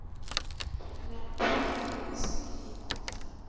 ondertekende sapd beampte